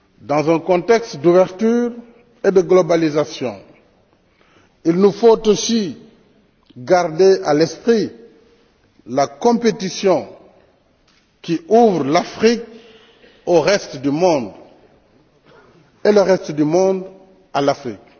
Dans un contexte d'ouverture et de globalisation, il nous faut aussi garder à l'esprit la compétition qui ouvre l'Afrique au reste du monde, et le reste du monde à l'Afrique.